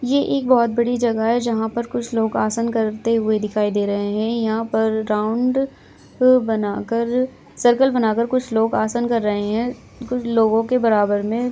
ये एक बहुत बड़ी जगह है जहाँ पर कुछ लोग आसन करते हुए दिखाई दे रहे हैं| यहाँ पर राउंड बनाकर सर्कल बनाकर कुछ लोग आसन कर रहे हैं कुछ लोगो के बराबर में--